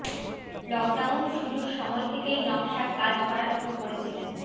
lockdown শুরুর সময় থেকেই নকশার কাজ করা শুরু করেছিলেন